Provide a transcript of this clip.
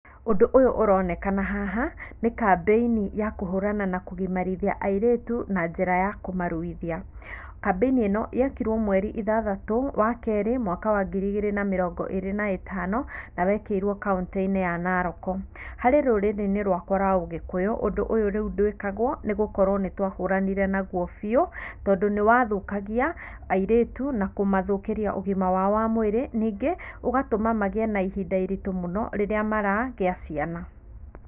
Ũndũ ũyũ ũronekana haha nĩ kambeini ya kũhũrana na kũgimarithia airĩtu na njĩra ya kũmaruithia. Kambĩini ĩno yekirwo mweri ithathatũ wa kerĩ mwaka wa ngiri igĩri na mĩrongo ĩrĩ na ĩtano, na wekĩirwo kauntĩinĩ ya Naroko. Harĩ rũrĩrĩinĩ rwakwa rwa ũgĩkũyũ ũndũ ũyũ rĩu ndwikagwo nĩgũkorwo nĩtwahũranire naguo biũ tondũ nĩwathukagia airĩtu na kũmathũkĩria ũgima wao wa mwĩrĩ nĩngĩ ũgatuma magĩe na ihinda iritũ rĩrĩa maragĩa ciana.